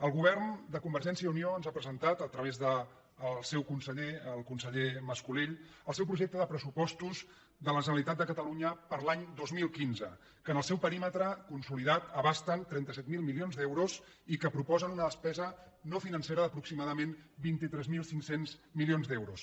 el govern de convergència i unió ens ha presentat a través del seu conseller el conseller mas·colell el seu projecte de pressupostos de la generalitat de catalu·nya per l’any dos mil quinze que en el seu perímetre consolidat abasten trenta set mil milions d’euros i que proposen una des·pesa no financera d’aproximadament vint tres mil cinc cents milions d’euros